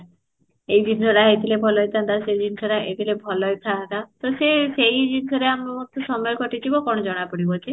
ଏଇ ଜିନିଷଟା ହେଇ ଥିଲେ ଭଲ ହେଇ ଥାଆନ୍ତା ସେଇ ଜିନିଷଟା ହେଇଥିଲେ ଭଲ ହେଇ ଥାଆନ୍ତା, ତ ସେ ସେଇ ଜିନିଷ ରେ ଆମେ ମତେ ସମୟ କଟି ଯିବ କଣ ଜଣା ପଡିବ ଯେ